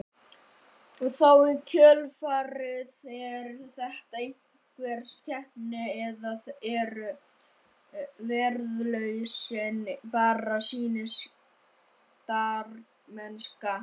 Og þá í kjölfarið, er þetta einhver keppni eða eru verðlaunin bara sýndarmennska?